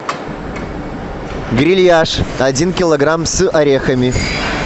грильяж один килограмм с орехами